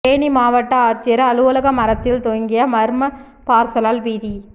தேனி மாவட்ட ஆட்சியர் அலுவலக மரத்தில் தொங்கிய மர்ம பார்சலால் பீதி